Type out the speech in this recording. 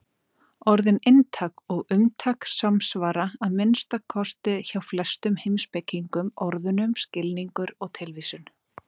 Orðin inntak og umtak samsvara, að minnsta kosti hjá flestum heimspekingum, orðunum skilningur og tilvísun.